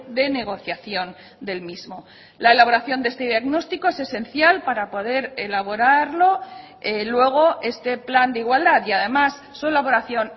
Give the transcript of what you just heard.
de negociación del mismo la elaboración de este diagnóstico es esencial para poder elaborarlo luego este plan de igualdad y además su elaboración